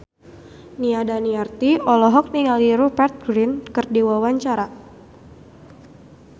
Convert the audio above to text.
Nia Daniati olohok ningali Rupert Grin keur diwawancara